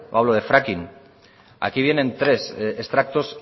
hablo de fracking aquí vienen tres extractos